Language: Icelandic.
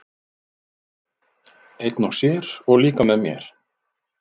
Einn og sér, og líka með mér.